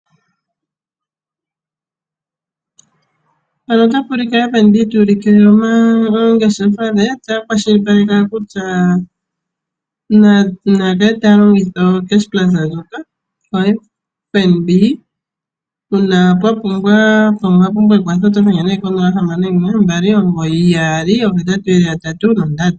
Mpano otapu ulike FNB taulike ongeshefa she ota kwashilipaleke owala kutya nakale taalongitha o cash plus ndjoka yo FNB uuna pwa pumbwa ekwatho oto dhenge neee ko 0612998883.